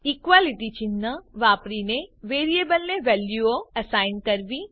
equality ચિન્હ વાપરીને વેરીએબલને વેલ્યુઓ એસાઈન કરવી